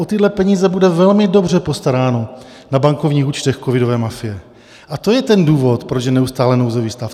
O tyhle peníze bude velmi dobře postaráno na bankovních účtech covidové mafie, a to je ten důvod, proč je neustále nouzový stav.